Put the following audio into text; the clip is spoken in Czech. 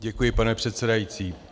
Děkuji, pane předsedající.